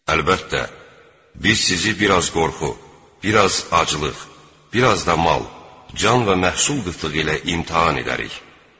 Əlbəttə, biz sizi biraz qorxu, biraz aclıq, biraz da mal, can və məhsul qıtlığı ilə imtahan edərik.